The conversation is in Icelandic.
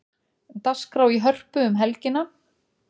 Dagskrá í Hörpu um helgina